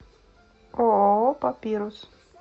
ооо папирус